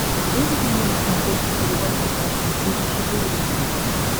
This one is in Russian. выведи мне на смотрешке передачу фэшн ти ви четыре ка